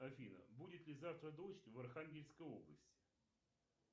афина будет ли завтра дождь в архангельской области